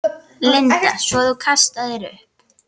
Linda: Svo þú kastaðir upp?